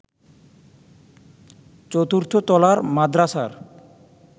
চতুর্থ তলার মাদরাসার